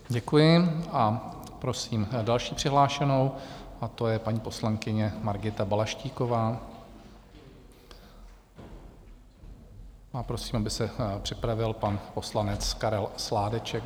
Děkuji a prosím další přihlášenou, a to je paní poslankyně Margita Balaštíková, a prosím, aby se připravil pan poslanec Karel Sládeček.